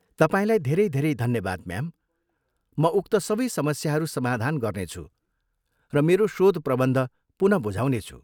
तपाईँलाई धेरै धेरै धन्यवाद, म्याम, म उक्त सबै समस्याहरू समाधान गर्नेछु र मेरो शोधप्रबन्ध पुन बुझाउनेछु।